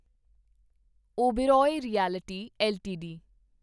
Oberoi realty LTD